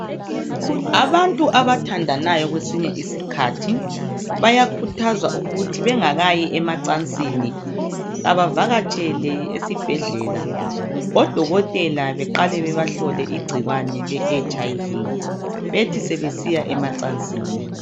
Abantu abathandanayo kwesinye isikhathi bayakhuthazwa ukuthi bengakayi emacansini abavakatshele esibhedlela, odokotela baqale bebahlole igcikwane le HIV bethi sebesiya emacansini